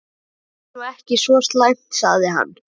Þetta er nú ekki svo slæmt sagði hann.